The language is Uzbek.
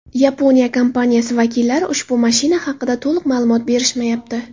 Yaponiya kompaniyasi vakillari ushbu mashina haqida to‘liq ma’lumot berishmayapti.